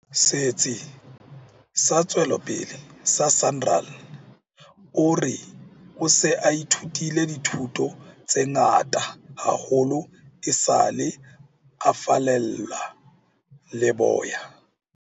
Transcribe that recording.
Setsi sa Tswe lopele sa SANRAL, o re o se a ithutile dithuto tse ngata haholo esale a fallela leboya.